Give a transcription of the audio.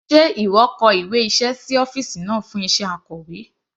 Sé ìwọ kọ ìwé iṣẹ́ sí ọ́fìsì náà fún iṣẹ́ Akọ̀wé?